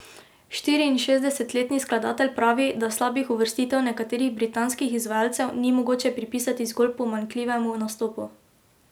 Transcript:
Štiriinšestdesetletni skladatelj pravi, da slabih uvrstitev nekaterih britanskih izvajalcev ni mogoče pripisati zgolj pomanjkljivemu nastopu.